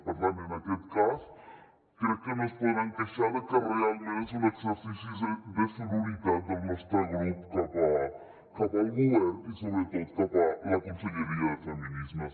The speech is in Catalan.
per tant en aquest cas crec que no es podran queixar de que realment és un exercici de sororitat del nostre grup cap al govern i sobretot cap a la conselleria de feminismes